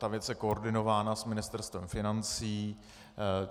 Ta věc je koordinována s Ministerstvem financí.